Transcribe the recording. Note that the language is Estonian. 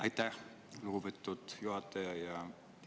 Aitäh, lugupeetud juhataja!